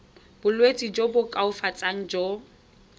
bolwetsi jo bo koafatsang jo